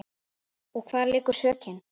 Og hvar liggur sökin?